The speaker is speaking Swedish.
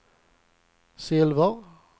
silver